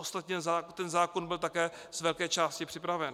Ostatně ten zákon byl také z velké části připraven.